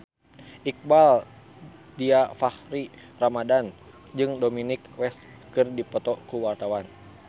Iqbaal Dhiafakhri Ramadhan jeung Dominic West keur dipoto ku wartawan